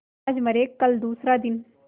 आज मरे कल दूसरा दिन